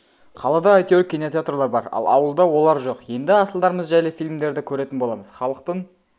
қалада әйтеуір кинотеатрлар бар ал ауылда олар жоқ енді асылдарымыз жайлы фильмдерді көретін боламыз халықтың